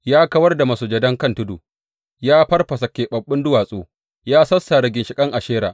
Ya kawar da masujadan kan tudu, ya farfasa keɓaɓɓun duwatsu, ya sassare ginshiƙan Ashera.